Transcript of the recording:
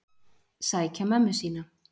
Sækja mömmu sína.